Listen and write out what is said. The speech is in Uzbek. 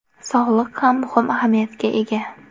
Sog‘liq ham muhim ahamiyatga ega.